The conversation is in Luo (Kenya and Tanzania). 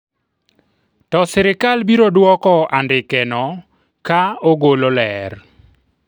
to sirikal biro dwoko andikeno ka ogolo ler ,